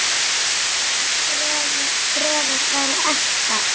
Bara bréfið hefði verið ekta!